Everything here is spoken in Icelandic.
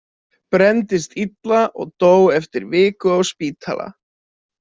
Brenndist illa og dó eftir viku á spítala.